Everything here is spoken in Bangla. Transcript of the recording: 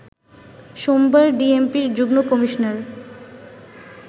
সোমবার ডিএমপির যুগ্ন কমিশনার